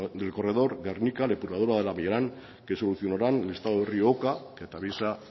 del corredor gernika depuradora del arriaran que solucionarán el estado del rio oka que se atraviesa